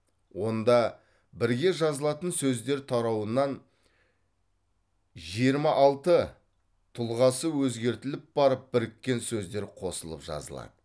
онда бірге жазылатын сөздер тарауынан жиырма алты тұлғасы өзгертіліп барып біріккен сөздер қосылып жазылады